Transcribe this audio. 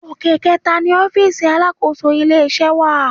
Òkè kẹẹ̀ta ni ọfísì alákòóso ilé-iṣẹ́ wà